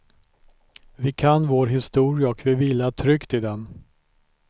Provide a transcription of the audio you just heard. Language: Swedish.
Vi kan vår historia och vi vilar tryggt i den.